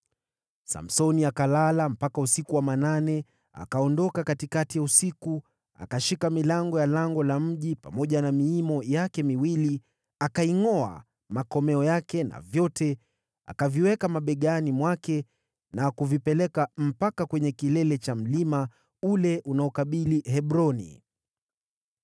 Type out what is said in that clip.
Samsoni akalala mpaka usiku wa manane. Akaondoka katikati ya usiku, akashika milango ya lango la mji pamoja na miimo yake miwili, akaingʼoa, makomeo yake na vyote. Akaviweka mabegani mwake na kuvipeleka mpaka kwenye kilele cha mlima ule unaokabili Hebroni.